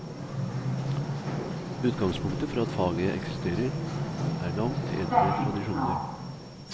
Utgangspunktet for at faget eksisterer, er langt eldre tradisjoner.